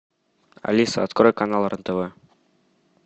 алиса открой канал рен тв